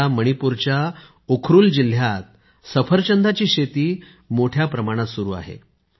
सध्या मणिपूरच्या उखरुल जिल्ह्यात सफरचंदाची शेती मोठ्या प्रमाणात सुरू आहे